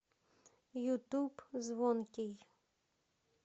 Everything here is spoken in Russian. ютуб звонкий